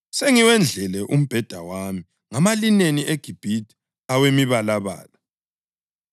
Sengiwendlele umbheda wami ngamalineni eGibhithe awemibalabala.